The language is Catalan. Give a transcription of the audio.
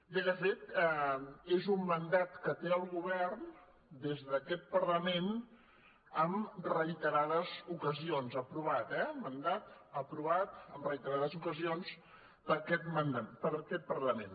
bé de fet és un mandat que té el govern des d’aquest parlament en reiterades oca·sions aprovat eh un mandat aprovat en reiterades ocasions per aquest parlament